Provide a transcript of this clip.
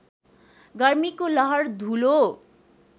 गर्मीको लहर धूलो